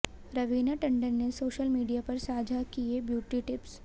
रवीना टंडन ने social media पर साझा किए ब्यूटी टिप्स